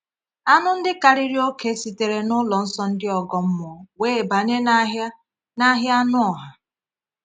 Anụ ndị karịrị oke sitere n’ụlọ nsọ ndị ọgọ mmụọ wee banye n’ahịa n’ahịa anụ ọha.